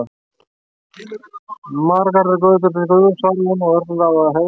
Margar eru götur til Guðs, svaraði hún og örlaði á hæðni.